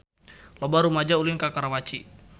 Loba rumaja ulin ka Karawaci